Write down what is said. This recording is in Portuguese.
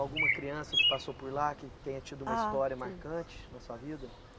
Alguma criança que passou por lá, que tenha tido uma história marcante na sua vida?